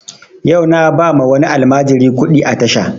Yau na ba ma wani almajiri kuɗi a tasha